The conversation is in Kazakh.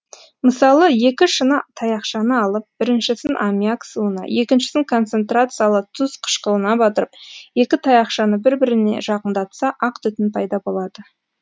мысалы екі шыны таяқшаны алып біріншісін аммиак суына екіншісін концентрациялы тұз қышқылына батырып екі таяқшаны бір біріне жақындатса ақ түтін пайда болады